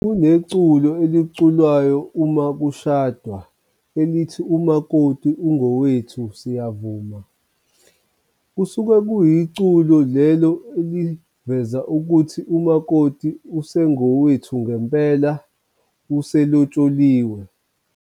Kuneculo oliculwayo uma kushadwa elithi umakoti ungowethu siyavuma kusuke kuyiculo lelo eliveza ukuthi umakoti usengowethu ngempela uselotsholiwe.